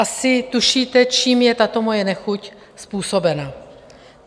Asi tušíte, čím je tato moje nechuť způsobena.